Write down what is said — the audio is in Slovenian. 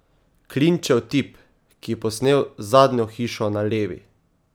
Klinčev tip, ki je posnel Zadnjo hišo na levi?